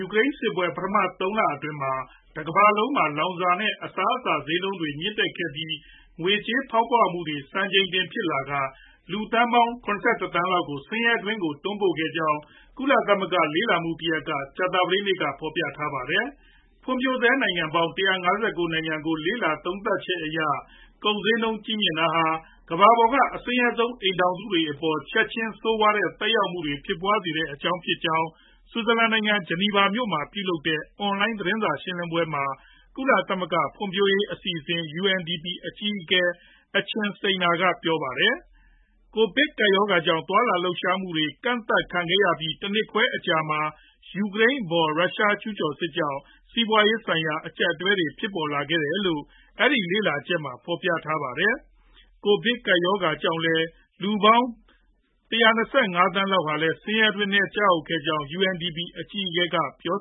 ူကရိန်းစစ်ပွဲ ပထမ ၃လအတွင်းမှာ တကမ္ဘာလုံးမှာ လောင်စာ နဲ့ အစားအစာ ဈေးနှုန်းတွေ မြင့်တက်ခဲ့ပြီး ငွေကြေးဖောင်းပွမှုတွေ စံချိန်တင်ဖြစ်လာကာ လူသန်းပေါင်း ၇၁ သန်းလောက်ကို ဆင်းရဲတွင်းကို တွန်းပို့ခဲ့ကြောင်း ကုလသမဂ္ဂလေ့လာမှုတရပ်က ကြာသပတေးနေ့မှာ ဖော်ပြထားပါတယ်။ ဖွံဖြိုးဆဲနိုင်ငံပေါင်း ၁၅၉ နိုင်ငံကို လေ့လာသုံးသပ်ချက်အရ ကုန်ဈေးနှုန်း ကြီးမြင့်တာဟာ ကမ္ဘာပေါ်က အဆင်းရဲဆုံး အိမ်ထောင်စုတွေအပေါ်မှာ ချက်ချင်း ဆိုးဝါးတဲ့ သက်ရောက်မှုတွေဖြစ်ပွားစေတဲ့အကြောင်း ဖြစ်ကြောင်း ဆွစ်ဇာလန်နိုင်ငံ ၊ ဂျနီဗာမှာ ပြုလုပ်တဲ့ အွန်လိုင်းသတင်းစာရှင်းလင်းပွဲမှာ ကုလသမဂ္ဂ ဖွံဖြိုးရေးအစီအစဉ် UNDP အကြီးအကဲ Achin Steiner က ပြောပါတယ်။ ကိုဗစ်ကပ်ရောဂါ ကြောင့် သွားလာလှုပ်ရှားမှုတွေ ကန့်သတ်ခန့်ခဲ့ရပြီး တနှစ်ခွဲအကြာမှာ ယူကရိန်းအပေါ် ရုရှားကျူးကျော်စစ်ကြောင့် စီးပွားရေးဆိုင်ရာ အကြပ်အတည်းတွေဖြစ်ပေါ်လာခဲ့တယ်လို့ အဲဒီ လေ့လာချက်မှာ ဖော်ပြပါတယ်။ ကိုဗစ်ကပ်ရောဂါကြောင့် လည်း လူပေါင်း ၁၂၅ သန်းလောက်လည်း ဆင်းရဲတွင်းထဲ ကျရောက်ခဲ့ကြောင်း UNDP အကြီးအကဲက ပြော